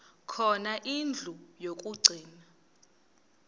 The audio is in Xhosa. khona indlu yokagcina